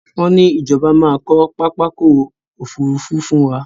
Wọn ní Ìjọba máa kọ pápákọ̀ Òfurufú fún wá